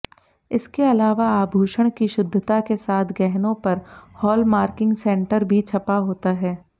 इसके अलावा आभूषण की शुद्धता के साथ गहनों पर हॉलमार्किंग सेंटर भी छपा होता है